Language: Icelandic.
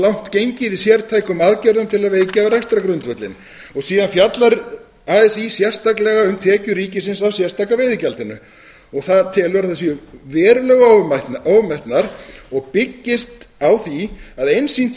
langt gengið í sértækum aðgerðum til að vekja rekstrargrundvöllinn síðan fjallar así sérstaka veiðigjaldinu og það telur að það séu verulega ofmetnar og byggist á því að einsýnt